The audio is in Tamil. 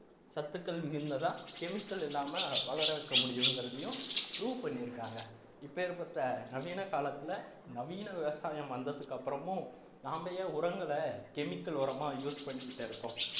சத்துக்கள் மிகுந்ததா chemical இல்லாம வளர வைக்க முடியும்ங்கிறதையும் prove பண்ணியிருக்காங்க இப்பேர்பட்ட நவீன காலத்துல நவீன விவசாயம் வந்ததுக்கு அப்புறமும் நாம ஏன் உரங்கலை chemical உரமா use பண்ணிட்டு இருக்கோம்